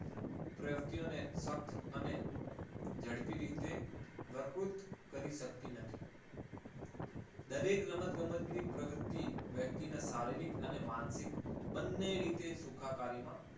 પ્રવૃત્તિઓને ફક્ત અને ઝડપી રીતે ભરપૂર કરી શકતી નથી. દરેક રમતગમતની પ્રવૃત્તિ વ્યક્તિને શારીરિક અને માનસિક બંને રીતે સુખાકારીમાં